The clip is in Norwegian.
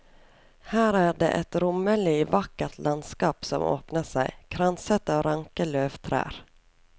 Her er det et rommelig, vakkert landskap som åpner seg, kranset av ranke løvtrær.